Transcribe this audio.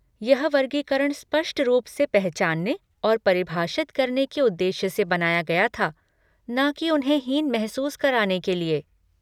यह वर्गीकरण स्पष्ट रूप से पहचानने और परिभाषित करने के उद्देश्य से बनाया गया था, न कि उन्हें हीन महसूस कराने के लिए।